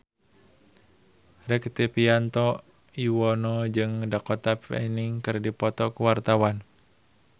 Rektivianto Yoewono jeung Dakota Fanning keur dipoto ku wartawan